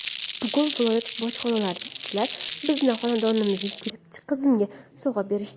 Bugun viloyat bojxonachilari bizni xonadonimizga kelib qizimga sovg‘a berishdi.